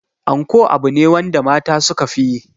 Anko abu ne wanda mata suka fi yi.